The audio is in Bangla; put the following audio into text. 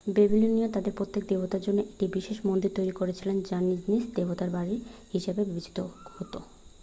ব্যাবিলনীয়রা তাদের প্রত্যেক দেবতার জন্য একটি বিশেষ মন্দির তৈরি করেছিল যা নিজ নিজ দেবতার বাড়ি হিসাবে বিবেচিত হত